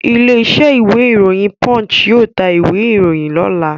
Ilé-iṣẹ́ ìwé-ìròyìn Punch yóò ta ìwé-ìròyìn lọ́la.